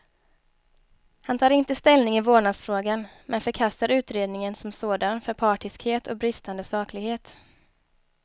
Han tar inte ställning i vårdnadsfrågan, men förkastar utredningen som sådan för partiskhet och bristande saklighet.